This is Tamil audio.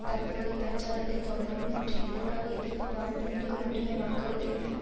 தற்போதைய பிரச்சாரத்தை தொடரவும் மற்றும் எதிர்கால எதிர்ப்பு போராட்டங்களுக்கும் மட்டுமே வாக்குறுதியளித்தன